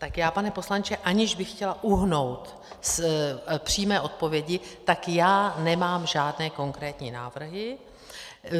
Tak já, pane poslanče, aniž bych chtěla uhnout z přímé odpovědi, tak já nemám žádné konkrétní návrhy.